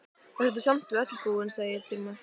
Vertu samt við öllu búin, segi ég dræmt.